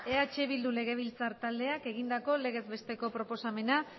eh bildu legebiltzar taldeak egindako legez besteko proposamena